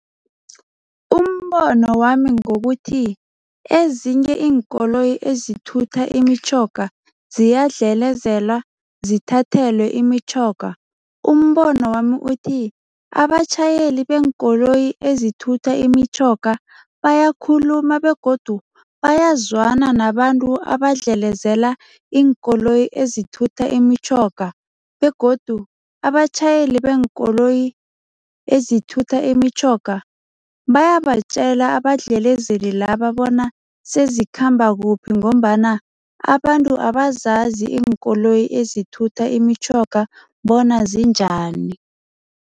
Umbono wami ngokuthi ezinye iinkoloyi ezithutha imitjhoga ziyadlalezelwa, zithathelwe imitjhoga, umbono wami uthi, abatjhayeli beenkoloyi ezithutha imitjhoga bayakhuluma begodu bayazwana nabantu abadlelezela iinkoloyi ezithutha imitjhoga begodu abatjhayeli beenkoloyi ezithutha imitjhoga bayabatjela abadlelezeli laba bona sezikhamba kuphi ngombana abantu abazazi iinkoloyi ezithutha imitjhoga bona zinjani.